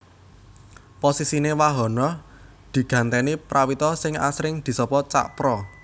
Posisiné Wahono digantèni Prawito sing asring disapa Cak Pra